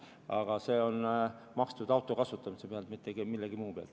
Aga see on makstud auto kasutamise pealt, mitte millegi muu pealt.